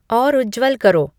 और उज्ज्वल करो